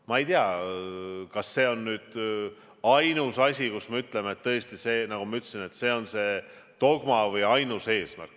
Ma ei tea, kas see on nüüd ainus asi, mille kohta me ütleme, et tõesti see on see dogma või ainus eesmärk.